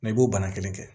i b'o bana kelen kɛ